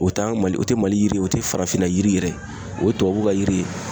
O t'an ka mali o te mali yiri ye, o tɛ farafinna yiri yɛrɛ ye. O ye tubabuw ka yiri ye.